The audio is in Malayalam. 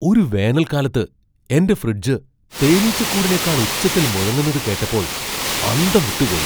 ഒരു വേനൽക്കാലത്ത് എന്റെ ഫ്രിഡ്ജ് തേനീച്ചക്കൂടിനെക്കാൾ ഉച്ചത്തിൽ മുഴങ്ങുന്നത് കേട്ടപ്പോൾ അന്തം വിട്ടുപോയി!